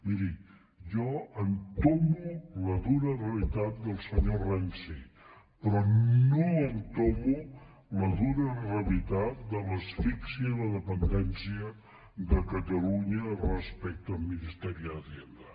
miri jo entomo la dura realitat del senyor renzi però no entomo la dura realitat de l’asfíxia i la dependèn·cia de catalunya respecte al ministerio de hacienda